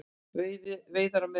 Veiðar á miðöldum.